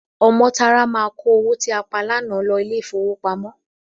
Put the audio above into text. Ọmọ́tárá máa kó owó tí a pa lánàá lọ ilé-ìfowópamọ́.